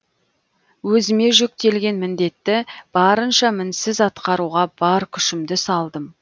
өзіме жүктелген міндетті барынша мінсіз атқаруға бар күшімді салдым